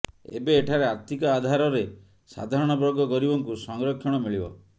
ଏବେ ଏଠାରେ ଆର୍ଥିକ ଆଧାରରେ ସାଧାରଣବର୍ଗ ଗରିବଙ୍କୁ ସଂରକ୍ଷଣ ମିଳିବ